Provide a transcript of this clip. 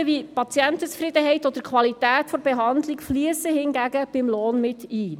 Hingegen fliessen Aspekte wie Patientenzufriedenheit oder Qualität der Behandlung beim Lohn mit ein.